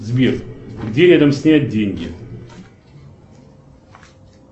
сбер где рядом снять деньги